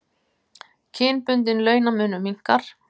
Kynbundinn launamunur minnkar